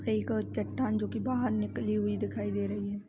एक चट्टान जोकि बहार निकली दिखाई दे रही है।